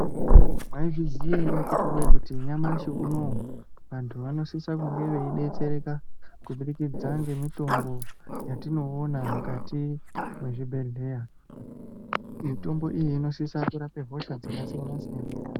Mwaizviziya ere akhiti woye kuti nyamashi unowu vanhu vanosisa kunge veidetsereka kubudikidza ngemitombo yatinoona kuzvibhedhleya, mitombo iyi inosisa kurape hosha dzakasiyana-siyana.